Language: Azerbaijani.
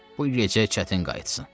Bu gecə çətin qayıtsın.